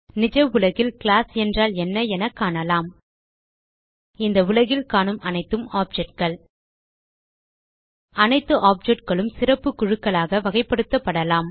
நிஜ உலகில் கிளாஸ் என்றால் என்ன என காணலாம் இந்த உலகில் காணும் அனைத்தும் objectகள் அனைத்து Objectகளும் சிறப்பு குழுக்களாக வகைப்படுத்தப்படலாம்